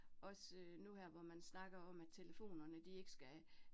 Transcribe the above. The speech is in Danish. Også nu her, hvor man snakker om, at telefonerne de ikke skal